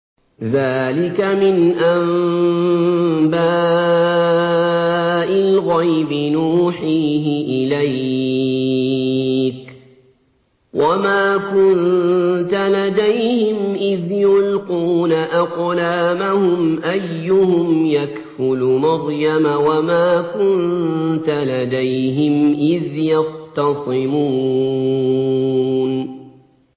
ذَٰلِكَ مِنْ أَنبَاءِ الْغَيْبِ نُوحِيهِ إِلَيْكَ ۚ وَمَا كُنتَ لَدَيْهِمْ إِذْ يُلْقُونَ أَقْلَامَهُمْ أَيُّهُمْ يَكْفُلُ مَرْيَمَ وَمَا كُنتَ لَدَيْهِمْ إِذْ يَخْتَصِمُونَ